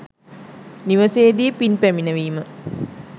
නිවසේ දී පින් පැමිණවීම